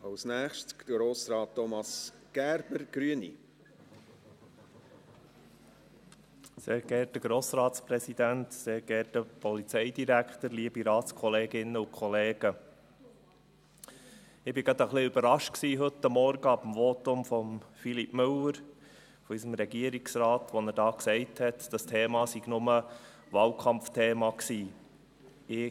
Ich war heute Morgen gerade ein wenig überrascht über das Votum von Philippe Müller, von unserem Regierungsrat, als er hier gesagt hat, das Thema sei nur Wahlkampfthema gewesen.